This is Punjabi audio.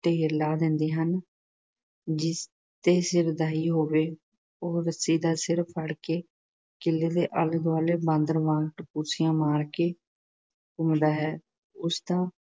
ਢੇਰ ਲਾ ਦਿੰਦੇ ਹਨ। ਜਿਸ ਦੇ ਸਿਰ ਦਾਈ ਹੋਵੇ ਉਹ ਰੱਸੀ ਦਾ ਸਿਰਾ ਫੜ ਕੇ ਕੀਲੇ ਦੇ ਆਲੇ-ਦੁਆਲੇ ਬਾਂਦਰ ਵਾਂਗ ਟਪੂਸੀਆਂ ਮਾਰ ਕੇ ਘੁੰਮਦਾ ਹੈ। ਉਸ ਦਾ